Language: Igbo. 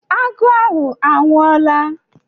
Agụ ahụ anwụọla?